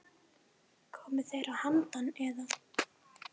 Koma þeir að handan, eða?